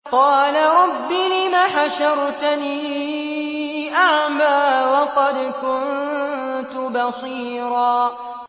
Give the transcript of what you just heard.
قَالَ رَبِّ لِمَ حَشَرْتَنِي أَعْمَىٰ وَقَدْ كُنتُ بَصِيرًا